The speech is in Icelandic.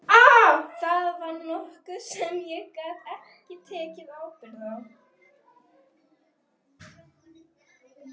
Það var nokkuð sem ég gat ekki tekið ábyrgð á.